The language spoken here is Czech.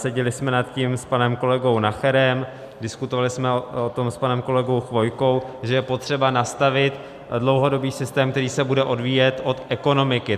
Seděli jsme nad tím s panem kolegou Nacherem, diskutovali jsme o tom s panem kolegou Chvojkou, že je potřeba nastavit dlouhodobý systém, který se bude odvíjet od ekonomiky.